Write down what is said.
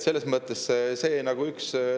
Selles mõttes on see näide kõigest sellest.